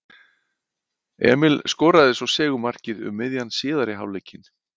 Emil skoraði svo sigurmarkið um miðjan síðari hálfleikinn.